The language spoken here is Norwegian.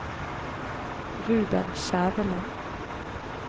Ruben Skjæveland